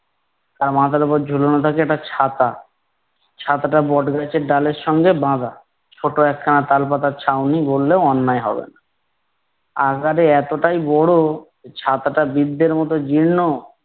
তার মাথার ওপর ঝুলনো থাকে একটা ছাতা। ছাতাটা বট গাছের ডালের সঙ্গে বাঁধা, ছোট একখানা তাল পাতার ছাউনি বললেও অন্যায় হবে না। আকারে এতটাই বড় ছাতাটা বৃদ্ধের মতো জীর্ণ,